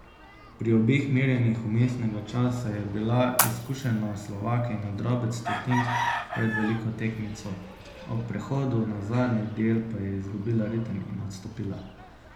Pri obeh merjenjih vmesnega časa je bila izkušena Slovakinja drobec stotink pred veliko tekmico, ob prehodu na zadnji del pa je izgubila ritem in odstopila.